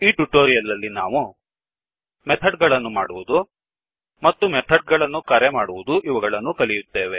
ಈ ಟ್ಯುಟೊರಿಯಲ್ ನಲ್ಲಿ ನಾವು ಮೆಥಡ್ ಗಳನ್ನು ಮಾಡುವದು ಮತ್ತು ಮೆಥಡ್ ಗಳನ್ನು ಕರೆ ಮಾಡುವದು ಇವುಗಳನ್ನು ಕಲಿಯುತ್ತೇವೆ